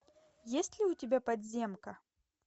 есть ли у тебя подземка